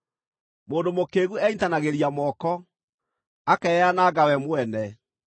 Mũndũ mũkĩĩgu enyiitanagĩria moko, akeyananga we mwene.